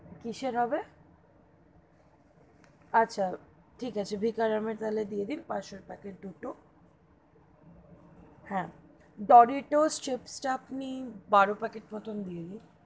কিসের হবে? আচ্ছা, ঠিক আছে বিকানেরের তবে দিয়ে দিন পাঁচশোর প্যাকেট দুটো, হা, ডোরিতোষ chips তা আপনি বারো packet মতো দিয়ে দিন,